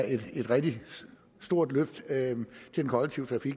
et rigtig stort løft